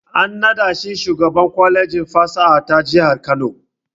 An nada shi shugaban kwalejin fasaha ta jihar Kano.